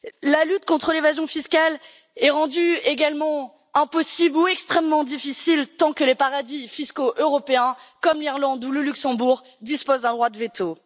La lutte contre l'évasion fiscale est rendue également impossible ou extrêmement difficile tant que les paradis fiscaux européens, comme l'Irlande ou le Luxembourg, disposent d'un droit de veto.